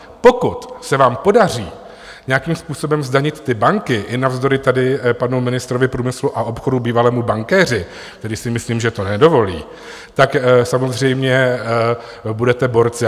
Pokud se nám podaří nějakým způsobem zdanit ty banky i navzdory tady panu ministrovi průmyslu a obchodu, bývalému bankéři, který si myslím, že to nedovolí, tak samozřejmě budete borci.